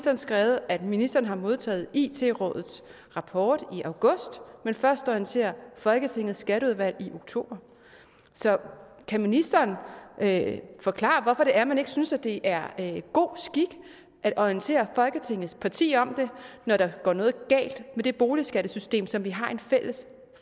har skrevet at ministeren har modtaget it rådets rapport i august men først har orienteret folketingets skatteudvalg i oktober kan ministeren forklare hvorfor det er man ikke synes det er god skik at orientere folketingets partier når der går noget galt med det boligskattesystem som vi har et fælles